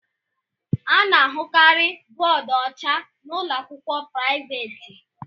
Ana ahụkarị bóódú ọcha na ụlọakwụkwọ priavaate.